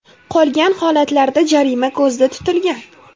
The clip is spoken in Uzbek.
Qolgan holatlarda jarima ko‘zda tutilgan.